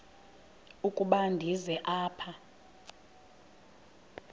ukuba ndize apha